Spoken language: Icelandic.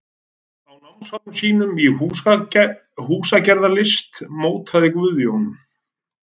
Á námsárum sínum í húsagerðarlist mótaði Guðjón